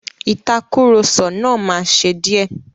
Ìtàkurọ̀sọ náà máa ṣe díẹ̀.